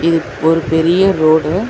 இது ஒரு பெரிய ரோடு .